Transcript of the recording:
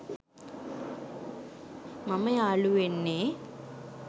මම යාළුවෙන්නෙ